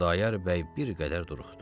Xudayar bəy bir qədər duruxdu.